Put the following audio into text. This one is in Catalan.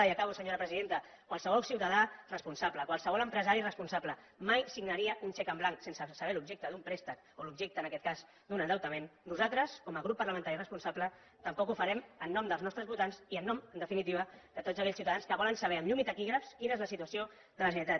i acabo senyor presidenta qualsevol ciutadà responsable qualsevol empresari responsable mai signaria un xec en blanc sense saber l’objecte d’un préstec o l’objecte en aquest cas d’un endeutament nosaltres com a grup parlamentari responsable tampoc ho farem en nom dels nostres votants i en nom en definitiva de tots aquells ciutadans que volen saber amb llum i taquígrafs quina és la situació de la generalitat